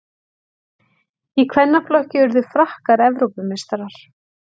Í kvennaflokki urðu Frakkar Evrópumeistarar